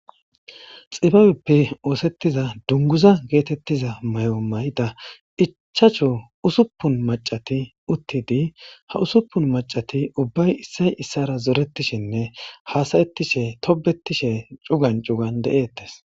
xibabeppe oosettiza dunguza geetettiza may7o may7ida iccchacho usuppun macati uttidi ha usuppun macati ubbay issay issara zoretishinne haasayettishe tobetishe cugan cugan de7ettes